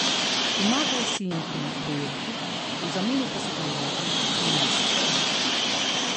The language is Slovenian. Pomagal si jim pri projektih, v zameno pa so te uvedli v finese obrti.